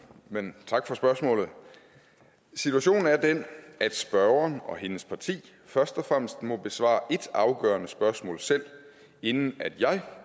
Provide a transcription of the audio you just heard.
men tak for spørgsmålet situationen er den at spørgeren og hendes parti først og fremmest må besvare et afgørende spørgsmål selv inden jeg